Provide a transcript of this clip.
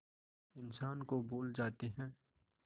इंसान को भूल जाते हैं